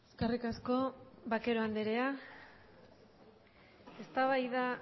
eskerrik asko vaquero andrea eztabaida